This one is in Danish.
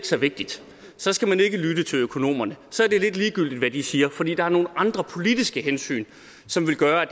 så vigtigt så skal man ikke lytte til økonomerne så er det lidt ligegyldigt hvad de siger fordi der er nogle andre politiske hensyn som vil gøre